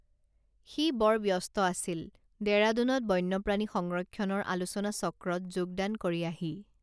সি বৰ ব্যস্ত আছিল ডেৰাদুনত বন্যপ্ৰাণী সংৰক্ষণৰ আলোচনা চক্ৰত যোগদান কৰি আহি